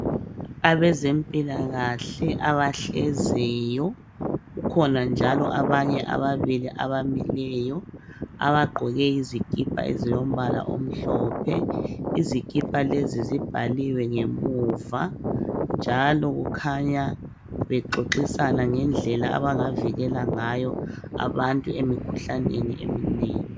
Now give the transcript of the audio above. Abezempilakahle abahleziyo kukhona njalo abanye ababili abamileyo abagqoke izikipa ezilombala omhlophe. Izikipa lezi zibhaliwe ngemuva njalo kukhanya bexoxisana ngendlela abangavikela ngayo abantu emikhuhlaneni eminengi.